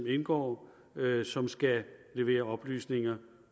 indgår som skal levere oplysninger